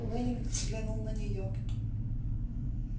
лэннинг взглянул на нее